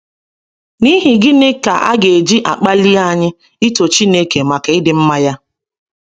N’ihi gịnị ka e ji akpali anyị ito Chineke maka ịdị mma ya?